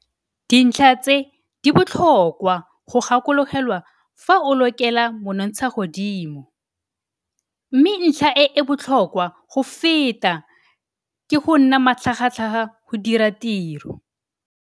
Dintlha tse di botlhokwa go gakologelwa fa o lokela monontshagodimo. Mme ntlha e e botlhokwa go feta ke go nna matlhagatlhaga go dira tiro!